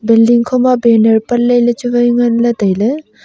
builling khoma banner patley lechu wai tailey.